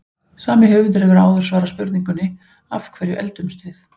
Sami höfundur hefur áður svarað spurningunni Af hverju eldumst við?